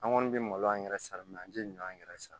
An kɔni bɛ malo an yɛrɛ san min na an tɛ ɲɔn yɛrɛ san